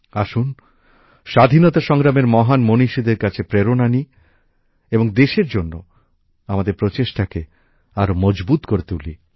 আসুন স্বাধীনতা সংগ্রামের মহান মনীষীদের কাছে আমরা প্রেরণা নিই এবং দেশের জন্য আমাদের প্রচেষ্টাকে আরও মজবুত করে তুলি